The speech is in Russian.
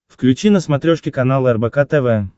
включи на смотрешке канал рбк тв